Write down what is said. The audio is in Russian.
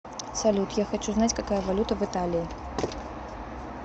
салют я хочу знать какая валюта в италии